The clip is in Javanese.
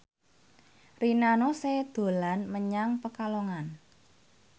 Rina Nose dolan menyang Pekalongan